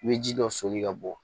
I bɛ ji dɔ soli ka bɔ